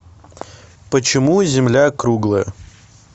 почему земля круглая